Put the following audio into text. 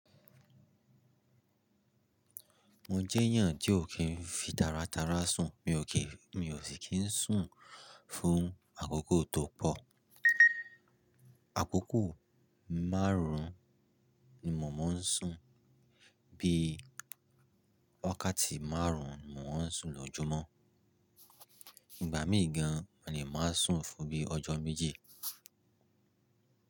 Mo jẹ́ èèyàn tí ò kí n fi tara tara sùn. Mi ò kí, mi ò sì kí ń sùn fún àkókò tó pọ̀. Àkókò márùn-ún ni mò ń sùn bí wákàtí márùn-ún mò ń sùn lójúmọ́. Ìgbà mí gan, mo lè máa sùn fún bí ọjọ́ méje.